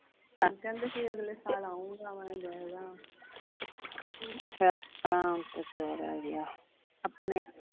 ਕਹਿੰਦੇ ਸੀ ਆਗਲੇ ਸਾਲ ਆਊਗਾ ਮੈਂ ਦੇਖਦਾ